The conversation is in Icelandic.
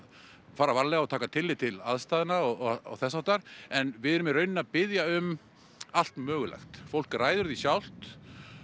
fara varlega og taka tillit til aðstæðna og þess háttar en við erum í rauninni að biðja um allt mögulegt fólk ræður því sjálft